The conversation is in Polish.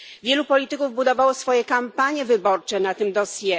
Wielu polityków budowało swoje kampanie wyborcze na tym dossier.